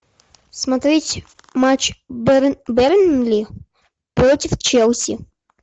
смотреть матч бернли против челси